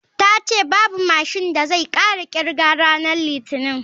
Ta ce babu mashin da zai sake kirga ranar litinin.